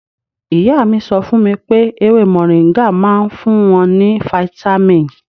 Ìyá mi sọ fún mi pé ewé mọ̀ríńgà máa ń fún wọn ní fítámìn.